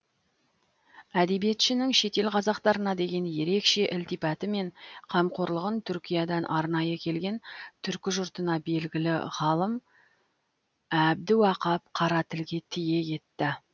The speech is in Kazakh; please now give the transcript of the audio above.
әдебиетшінің шетел қазақтарына деген ерекше ілтипаты пен қамқорлығын түркиядан арнайы келген түркі жұртына белгілі ғалым әбдіуақап қара тілге тиек етті